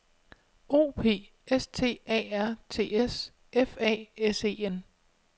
O P S T A R T S F A S E N